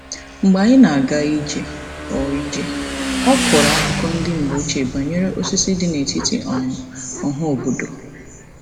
Mgbe anyị na-aga ije, ọ ije, ọ kọrọ akụkọ ndị mgbe ochie banyere osisi dị n'etiti um ọhaobodo.